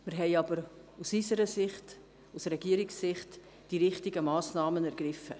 Wir haben jedoch aus Sicht der Regierung die richtigen Massnahmen ergriffen.